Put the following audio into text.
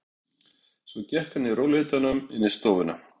Svo gekk hann í rólegheitum inn í stofuna.